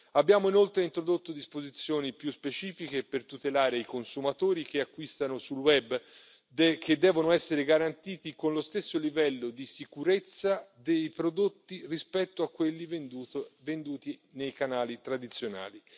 Abbiamo inoltre introdotto disposizioni più specifiche per tutelare i consumatori che acquistano sul web, che devono essere garantiti con lo stesso livello di sicurezza dei prodotti rispetto a quelli venduti nei canali tradizionali.